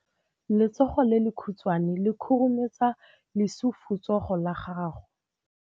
Letsogo le lekhutshwane le khurumetsa lesufutsogo la gago.